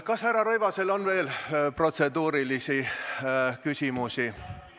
Kas härra Rõivasel on veel protseduurilisi küsimusi?